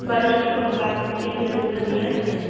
барышникова двадцать три первый подъезд